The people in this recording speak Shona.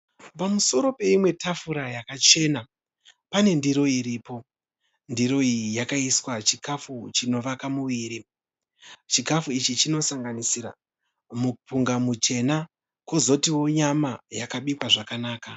Pamusoro peimwe tafura yakachena pane ndiro iripo. Ndiro iyi yakaiswa chikafu chinovaka muviri. Chikafu ichi chinosanganisira mupunga muchena kozotiwo nyama yakabikwa zvakanaka.